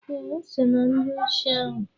Eh, o so na ndị osi ahụ.